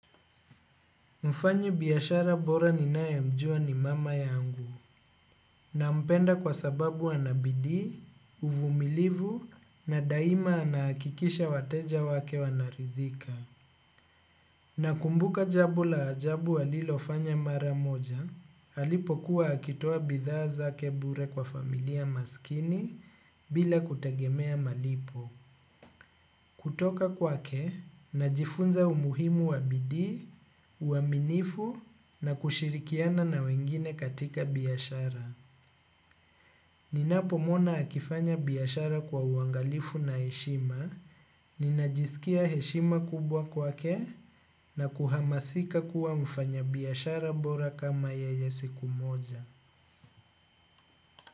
Mfanyibiashara bora ninayemjua ni mama yangu nampenda kwa sababu ana bidii, uvumilivu na daima anahakikisha wateja wake wanaridhika. Nakumbuka jambo la ajabu alilofanya mara moja, alipokuwa akitoa bidhaa zake bure kwa familia maskini bila kutegemea malipo. Kutoka kwake, najifunza umuhimu wa bidii, uaminifu na kushirikiana na wengine katika biashara. Ninapomwona akifanya biashara kwa uangalifu na heshima, ninajisikia heshima kubwa kwake na kuhamasika kuwa mfanyabiashara bora kama yeye siku moja.